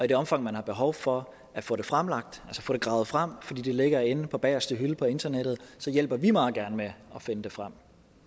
det omfang man har behov for at få det fremlagt altså få det gravet frem fordi det ligger inde på bagerste hylde på internettet så hjælper vi meget gerne med at finde det frem